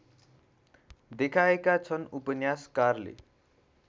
देखाएका छन् उपन्यासकारले